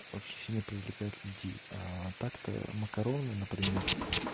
очень сильно привлекают людей так-то макароны например